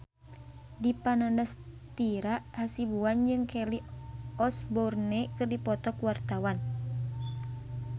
Dipa Nandastyra Hasibuan jeung Kelly Osbourne keur dipoto ku wartawan